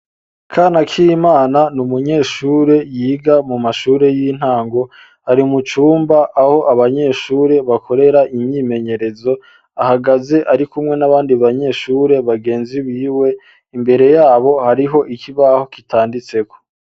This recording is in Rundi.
Ntizigiye imana ni umunyeshure yiga mu mashure y'intango kw'ishure aho yiga imbere hariho ikibuga gitemwo ivyatsi hamwe n'ikigega c'amazi gifise ibara ryirabura iruhande y'ivyumba vy'amasomero hariho abanyeshure bahari.